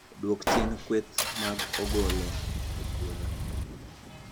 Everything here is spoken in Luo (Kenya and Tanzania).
Dwok chien kweth mag ogolo e puothi